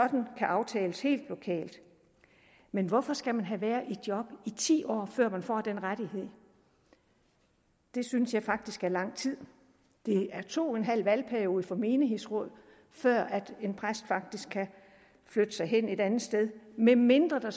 kan aftales helt lokalt men hvorfor skal man have været i job i ti år før man får den rettighed det synes jeg faktisk er lang tid det er to og en halv valgperiode for menighedsrådet før en præst faktisk kan flytte sig hen et andet sted medmindre der